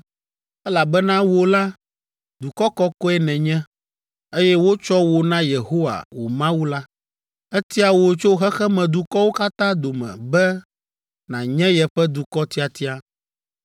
elabena wò la, dukɔ kɔkɔe nènye, eye wotsɔ wò na Yehowa, wò Mawu la. Etia wò tso xexemedukɔwo katã dome be nànye yeƒe dukɔ tiatia.